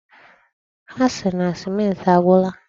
Ha siri na sèmenti agwụla.